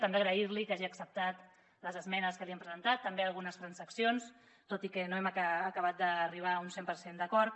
també agrair·li que hagi acceptat les esmenes que li hem presentat també algunes trans·accions tot i que no hem acabat d’arribar a un cent per cent d’acord